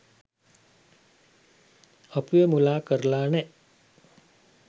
අපිව මුලා කරලා නෑ.